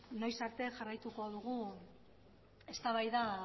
noiz arte jarraituko dugun